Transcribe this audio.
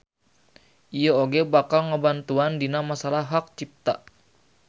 Ieu oge bakal ngabantuan dina masalah hak cipta.